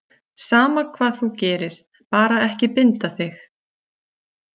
Sama hvað þú gerir, bara ekki binda þig.